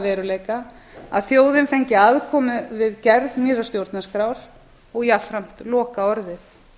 veruleika að þjóðin fengi aðkomu við gerð nýrrar stjórnarskrár og jafnframt lokaorðið